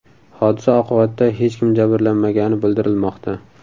Hodisa oqibatida hech kim jabrlanmagani bildirilmoqda.